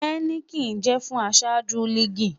Heineken jẹ fun aṣaju liigi